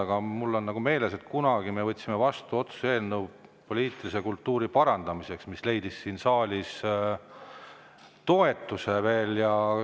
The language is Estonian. Aga mul on meeles, et kunagi me võtsime vastu otsuse poliitilise kultuuri parandamiseks, selline otsuse eelnõu leidis siin saalis toetust.